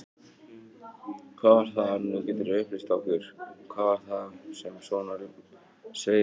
Hvað var það, nú geturðu upplýst okkur, hvað var það sem svona sveið mest?